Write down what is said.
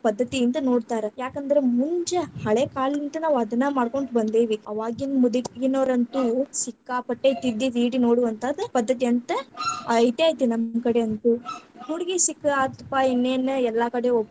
ಪದ್ಧತಿಯಿಂದ ನೋಡ್ತಾರ್, ಯಾಕಂದ್ರ ಮುಂಜ ಹಳೆಕಾಲಿಂತನ ನಾವ ಅದನ್ನ್‌ ಮಾಡಕೊಂತ ಬಂದಿವಿ, ಅವಾಗಿನ್‌ ಮುದುಕಿನೊರಂತೂ ಸಿಕ್ಕಾಪಟ್ಟೆ ತಿದ್ದಿ ತೀಡಿ ನೋಡುವಂಥಾದ್‌ ಪದ್ಧತಿ ಅಂತ ಐತೇ ಐತಿ ನಮ್ಮಕಡೆ ಅಂತೂ, ಹುಡಗಿ ಸಿಕ್ಕಾತ್ರಪ್ಪ ಇನ್ನೇನ್‌ ಎಲ್ಲಾಕಡೆ.